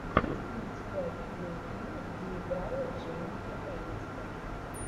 есть ли у тебя видеофильм где играла дженифер энистон